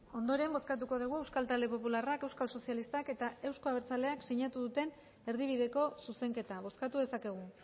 ondoren bozkatuko dugu euskal talde popularrak euskal sozialistak eta euzko abertzaleak sinatu duten erdibideko zuzenketa bozkatu dezakegu